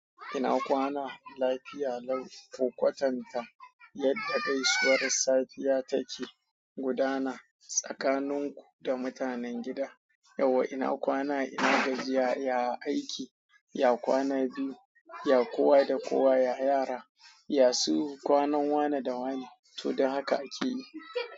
Ina kwana lafiya lau, ka kwatanta yadda gaisuwar safiya take gudana tsakaninku da mutanen gida. Yawwa ina kwana, ina gajiya, ya aiki, ya kwana biyu, ya kowa da kowa, ya yara, ya su kwanan wane da wane. To don haka ake yi.